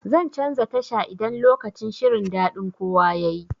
Zan canza tasha idan lokacin shirin daɗin kowa yayi.